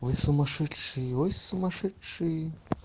вы сумасшедшие ой сумасшедшие